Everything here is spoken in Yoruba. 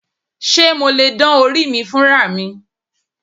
Ṣé mo lè dán orí mi fúnra mi?